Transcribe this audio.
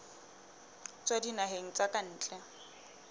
tswa dinaheng tsa ka ntle